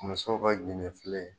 Musow ka ginde filen